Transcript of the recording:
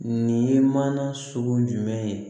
Nin ye mana sugu jumɛn ye